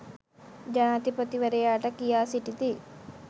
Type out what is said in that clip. ජනාධිපතිවරයාට කියා සිටිති